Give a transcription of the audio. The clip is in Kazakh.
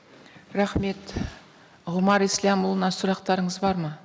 рахмет ғұмар ислямұлына сұрақтарыңыз бар ма